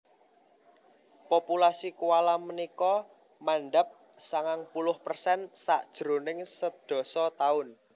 Populasi koala punika mandhap sangang puluh persen sajroning sedasa taun